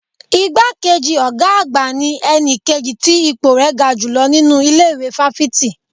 Igbá kejì ọ̀gá àgbà ní ẹni kejì tí ipò rẹ̀ ga jùlọ nínú ilé ìwé fáfitì